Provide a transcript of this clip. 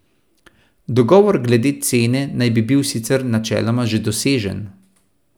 Dogovor glede cene naj bi bil sicer načeloma že dosežen.